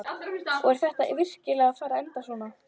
Og er þetta virkilega að fara að enda svona?